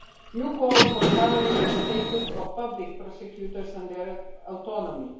You call for covering the status of public prosecutors and their autonomy.